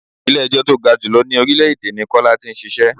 Ilẹ̀ ẹjọ́ tó ga jù lọ ní orílè èdè ní Kọ́lá tí ń ṣíṣe.